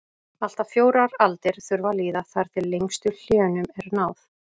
allt að fjórar aldir þurfa að líða þar til lengstu hléunum er náð